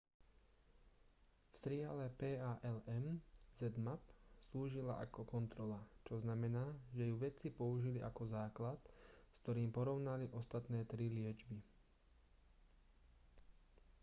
v triale palm zmapp slúžila ako kontrola čo znamená že ju vedci použili ako základ s ktorým porovnali ostatné tri liečby